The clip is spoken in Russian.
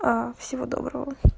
а всего доброго